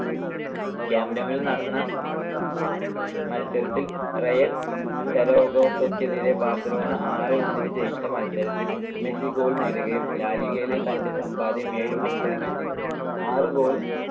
കാമ്പ് ന്യൂവിൽ നടന്ന മത്സരത്തിൽ റയൽ സരഗോസക്കെതിരെ ബാർസലോണ ആറ് - ഒന്നിന് ജയിച്ച മത്സരത്തിൽ മെസ്സി goal നേടുകയും ലാ ലിഗയിലെ തന്റെ സമ്പാദ്യം ഏഴ് മത്സരങ്ങളിൽ നിന്നും ആറ് goal